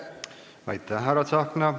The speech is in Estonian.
Aitäh, härra Tsahkna!